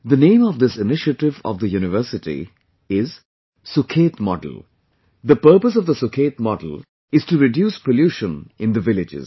The name of this initiative of the university is "Sukhet Model" The purpose of the Sukhet model is to reduce pollution in the villages